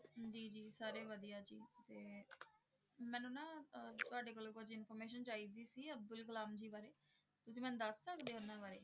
ਜੀ ਜੀ ਸਾਰੇ ਵਧੀਆ ਜੀ, ਤੇ ਮੈਨੂੰ ਨਾ ਅਹ ਤੁਹਾਡੇ ਕੋਲੋਂ ਕੁੱਝ information ਚਾਹੀਦੀ ਸੀ, ਅਬਦੁਲ ਕਲਾਮ ਜੀ ਬਾਰੇ, ਤੁਸੀਂ ਮੈਨੂੰ ਦੱਸ ਸਕਦੇ ਉਹਨਾਂ ਬਾਰੇ